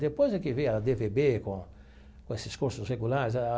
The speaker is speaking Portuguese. Depois é que veio a dê vê bê com com esses cursos regulares.